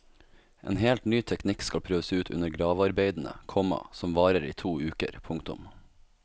En helt ny teknikk skal prøves ut under gravearbeidene, komma som varer i to uker. punktum